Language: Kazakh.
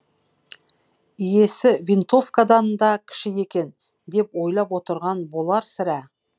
иесі винтовкадан да кіші екен деп ойлап отырған болар сірә